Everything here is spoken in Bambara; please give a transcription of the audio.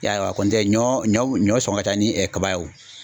I y'a ye wa kɔntɛ ɲɔ ɲɔ ɲɔ sɔngɔ ka ca ni kaba ye o.